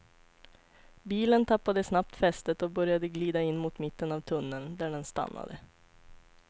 Bilen tappade snabbt fästet och började glida in mot mitten av tunneln, där den stannade.